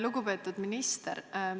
Lugupeetud minister!